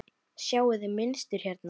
Sjáiði mynstur hérna?